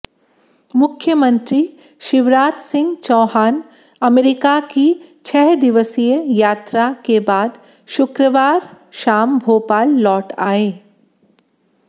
मुख्यमंत्री शिवराजसिंह चौहान अमेरिका की छह दिवसीय यात्रा के बाद शुक्रवार शाम भोपाल लौट आए